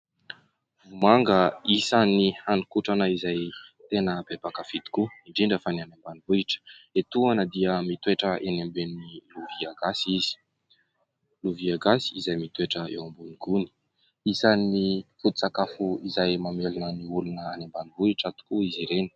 Vomanga, isan'ny haninkotrana izay tena be mpakafy tokoa, indrindra fa ny any ambanivohitra. Etoana dia mitoetra eny ambonin'ny lovia gasy izy, lovia gasy izay mitoetra eo ambonin'ny gony. Isan'ny foton-tsakafo izay mamelona ny olona any ambanivohitra tokoa izy ireny.